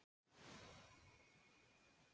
Tekur þetta ekkert á taugarnar?